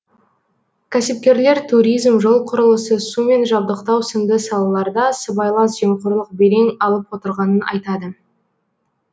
кәсіпкерлер туризм жол құрылысы сумен жабдықтау сынды салаларда сыбайлас жемқорлық белең алып отырғанын айтады